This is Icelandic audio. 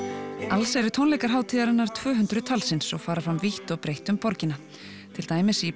alls eru tónleikar hátíðarinnar tvö hundruð talsins og fara fram vítt og breytt um borgina til dæmis í